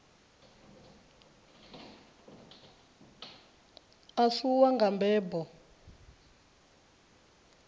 a si wau nga mbebo